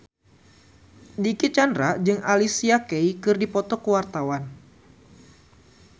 Dicky Chandra jeung Alicia Keys keur dipoto ku wartawan